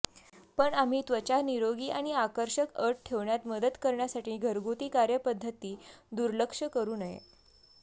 पण आम्ही त्वचा निरोगी आणि आकर्षक अट ठेवण्यात मदत करण्यासाठी घरगुती कार्यपद्धती दुर्लक्ष करू नये